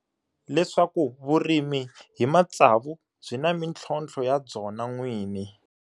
Leswaku vurimi hi matsavu byi na mintlhotlho ya byona n'wini.